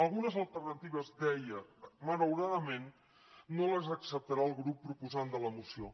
algunes alternatives deia malauradament no les acceptarà el grup proposant de la moció